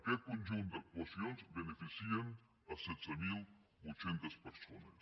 aquest conjunt d’actuacions beneficien setze mil vuit cents persones